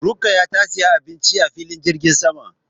Rukkaya ta siyi abinci a filin jirgin sama